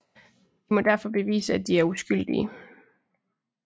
De må derfor bevise at de er uskyldige